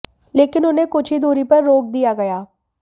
लेकिन उन्हें कुछ ही दूरी पर रोक दिया गया